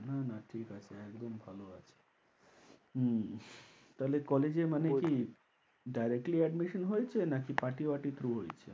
না না ঠিক আছে একদম ভালো আছে হম তাহলে college এ মানে কি directly admission হয়েছে নাকি party বাটি through হয়েছে?